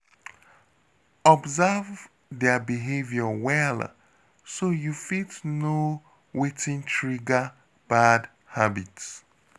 Observe their behavior well so you fit know wetin trigger bad habit.